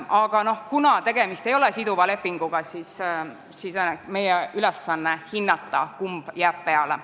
Aga kuna tegemist ei ole siduva lepinguga, siis on meie ülesanne hinnata, kumb peale jääb.